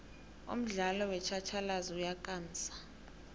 umdialo wotjhatjhalazi uyakamsa